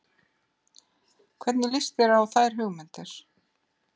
Hvernig líst þér á þær hugmyndir?